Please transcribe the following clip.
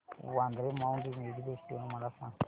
Vandre Mount Mary festival मला सांग